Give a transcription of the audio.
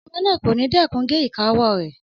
Ọmọ náà kò ní dẹ́kun gé ìka ọwọ́ rẹ̀